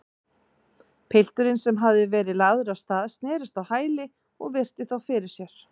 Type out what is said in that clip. Pilturinn, sem hafði verið lagður af stað, snerist á hæli og virti þá fyrir sér.